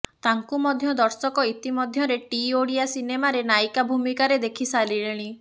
ତାଙ୍କୁ ମଧ୍ୟ ଦର୍ଶକ ଇତିମଧ୍ୟରେ ଟି ଓଡ଼ିଆ ସିନେମାରେ ନାୟିକା ଭୂମିକାରେ ଦେଖି ସାରିଲେଣି